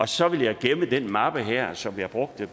så vil jeg gemme den mappe her som jeg brugte